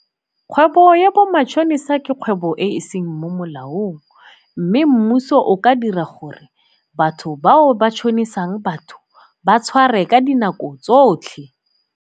Kgwebo ya bo matšhonisa ke kgwebo e e seng mo molaong mme mmuso o ka dira gore batho bao ba tšhonisang batho ba tshware ka dinako tsotlhe.